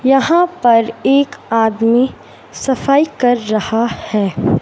यहां पर एक आदमी सफाई कर रहा है।